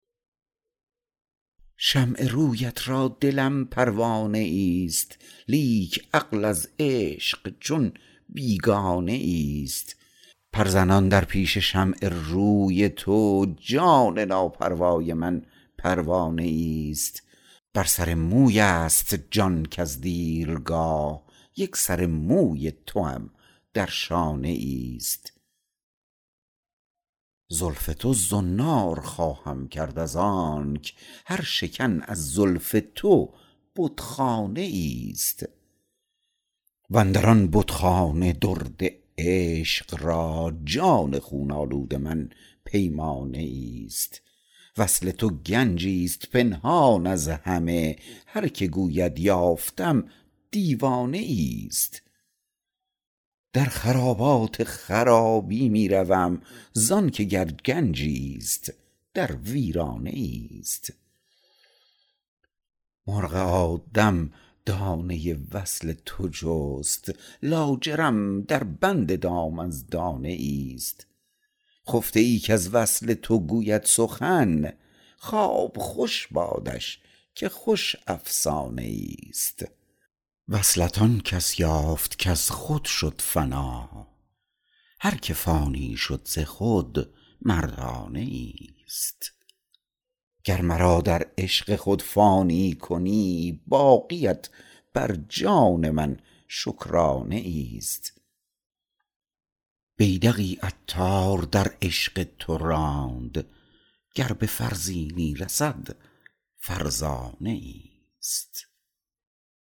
شمع رویت را دلم پروانه ای است لیک عقل از عشق چون بیگانه ای است پر زنان در پیش شمع روی تو جان ناپروای من پروانه ای است بر سر موی است جان کز دیرگاه یک سر موی توام در شانه ای است زلف تو زنار خواهم کرد از آنک هر شکن از زلف تو بتخانه ای است واندران بتخانه درد عشق را جان خون آلود من پیمانه ای است وصل تو گنجی است پنهان از همه هر که گوید یافتم دیوانه ای است در خرابات خرابی می روم زانکه گر گنجی است در ویرانه ای است مرغ آدم دانه وصل تو جست لاجرم در بند دام از دانه ای است خفته ای کز وصل تو گوید سخن خواب خوش بادش که خوش افسانه ای است وصلت آن کس یافت کز خود شد فنا هر که فانی شد ز خود مردانه ای است گر مرا در عشق خود فانی کنی باقیت بر جان من شکرانه ای است بیدقی عطار در عشق تو راند گر به فرزینی رسد فرزانه ای است